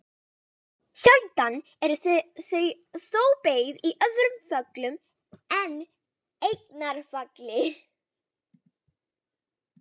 Enginn rökstuðningur fylgdi með synjuninni